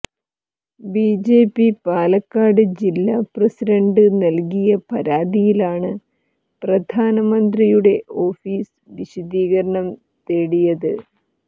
BJP Palakkad ജില്ലാ president നല്കിയ പരാതിയിലാണ് പ്രധാനമന്ത്രിയുടെ ഓഫിസ് വിശദീകരണം തേടിയത്